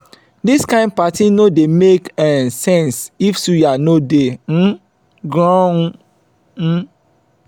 dis kain party no dey make um sense if suya no dey um groung. um